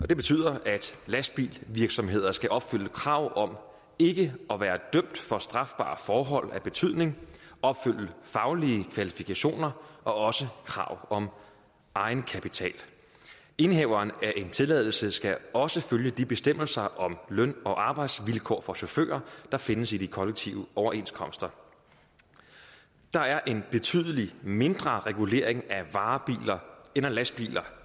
det betyder at lastbilsvirksomheder skal opfylde krav om ikke at være dømt for strafbare forhold af betydning opfylde faglige kvalifikationer og krav om egenkapital indehaveren af en tilladelse skal også følge de bestemmelser om løn og arbejdsvilkår for chauffører der findes i de kollektive overenskomster der er en betydelig mindre regulering af varebiler end af lastbiler